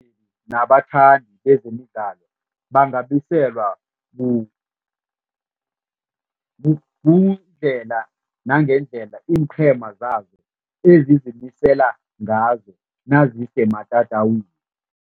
Nabathandi bezemidlalo bangabiselwa kuyindlela nangendlela iinqhema zabo ezizimisela ngazo nazisematatawini.